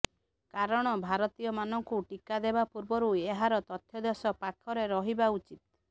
କାରଣ ଭାରତୀୟମାନଙ୍କୁ ଟିକା ଦେବା ପୂର୍ବରୁ ଏହାର ତଥ୍ୟ ଦେଶ ପାଖରେ ରହିବା ଉଚିତ୍